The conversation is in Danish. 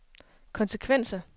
konsekvenser